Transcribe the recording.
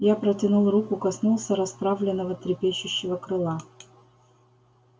я протянул руку коснулся расправленного трепещущего крыла